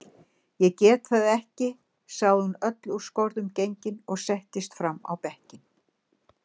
Ég get það ekki, sagði hún öll úr skorðum gengin og settist fram á bekkinn.